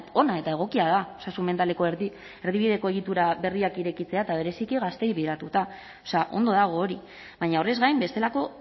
ona eta egokia da osasun mentaleko erdibideko egitura berriak irekitzea eta bereziki gazteei begiratuta ondo dago hori baina horrez gain bestelako